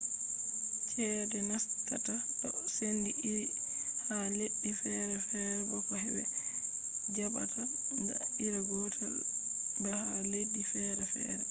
ceede nastata do sendi iri ha leddi feere feere bo ko be jabata na iri gotel ba ha leddi feere feere